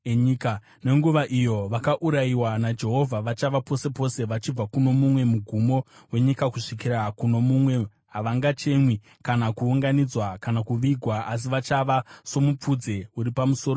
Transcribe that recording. Panguva iyo vakaurayiwa naJehovha vachava pose pose vachibva kuno mumwe mugumo wenyika kusvikira kuno mumwe. Havangachemwi kana kuunganidzwa, kana kuvigwa, asi vachava somupfudze uri pamusoro penyika.